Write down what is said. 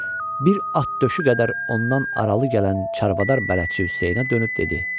Bir at döşü qədər ondan aralı gələn çarvadar bələdçi Hüseynə dönüb dedi: